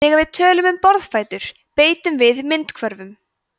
þegar við tölum um borðfætur beitum við myndhvörfum